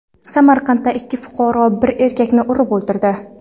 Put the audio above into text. Samarqandda ikki fuqaro bir erkakni urib o‘ldirdi.